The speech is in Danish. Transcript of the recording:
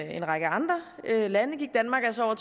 en række andre lande gik danmark altså